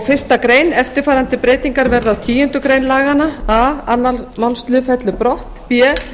einni grein eftirfarandi breytingar verða á tíundu grein laganna a aðra málsl fellur brott b